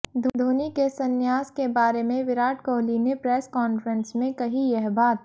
धोनी के संन्यास के बारे में विराट कोहली ने प्रेस कॉन्फ्रेंस में कही यह बात